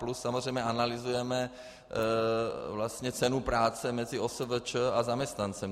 Plus samozřejmě analyzujeme vlastně cenu práce mezi OSVČ a zaměstnancem.